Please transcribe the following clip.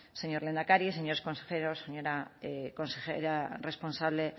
señor lehendakari señores consejeros señora consejera responsable